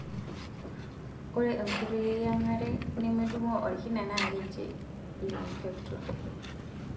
Ore enkoitoi eyiangare nemedungoo olkina naa keji lumpectomy.